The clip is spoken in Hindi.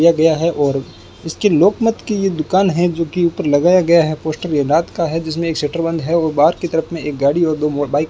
दिया गया है और इसकी लोक मत की ये दुकान है जो कि ऊपर लगाया गया है पोस्टर ये रात का है जिसमें एक शटर बंद है और बाहर की तरफ में एक गाड़ी और दो मो बाइक --